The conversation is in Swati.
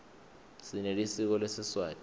sinelisiko lesiswati